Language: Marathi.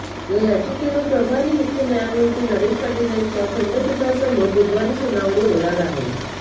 या याचिकेवर प्रभारी मुख्य न्यायमूर्ती नरेश पाटील यांच्या खंडपीठासमोर बुधवारी सुनावणी होणार आहे